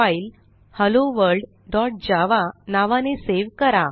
file hello world dot Java नावाने save करा